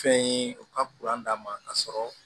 Fɛn ye u ka d'a ma k'a sɔrɔ